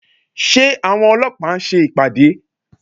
Ṣé àwọn ọlọ́pàá ń ṣe ìpàdé?